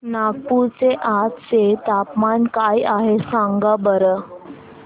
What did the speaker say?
नागपूर चे आज चे तापमान काय आहे सांगा बरं